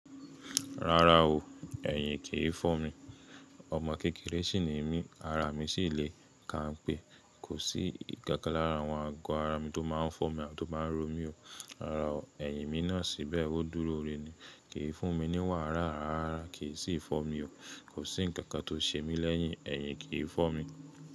Rárá o, ẹ̀yìn kì í fọ́ mi. Ọmọ kékeré sì ni mí, ara mi sì le kánpé kò sí ikankan lara awọ́n. Àgọ́ ara mi tó má a fọ́ mi àbi tó má ro mi o. Rárá o, ẹ̀yìn mi náà síbẹ̀ ó dúró re ni. Kì í fún mi ní wàrà, rárá, kì í sì fọ́ mi o. Kò sí ǹkan kan tó ṣe mí lẹ́yìn, ẹ̀yìn kì í fọ́ mi.